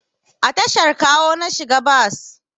A tashar Kawo na shiga bas